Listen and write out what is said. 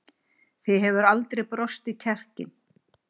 Þig hefur aldrei brostið kjarkinn.